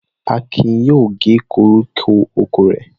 Akin yóò gé koríko oko rẹ̀.